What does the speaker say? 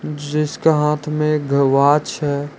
जिसका हाथ में एग वॉच है।